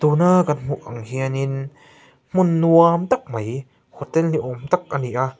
tuna kan hmuh ang hianin hmun nuam tak mai hotel ni awm tak ani a.